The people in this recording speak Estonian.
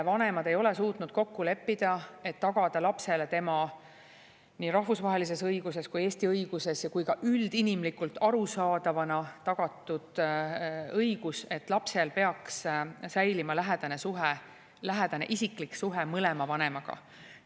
Vanemad ei ole suutnud kokku leppida, et tagada lapsele tema nii rahvusvahelises õiguses kui Eesti õiguses kui ka üldinimlikult arusaadavana tagatud õigus, et lapsel peaks säilima lähedane suhe, lähedane isiklik suhe mõlema vanemaga.